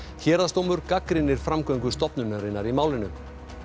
héraðsdómur gagnrýnir framgöngu stofnunarinnar í málinu